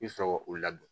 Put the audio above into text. I bɛ sɔrɔ ka u ladon